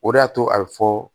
O de y'a to a bɛ fɔ